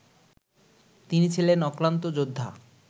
তিনি ছিলেন অক্লান্ত যোদ্ধা